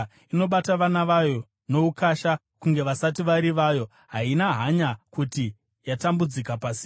Inobata vana vayo noukasha, kunge vasati vari vayo; haina hanya kuti yakatambudzika pasina,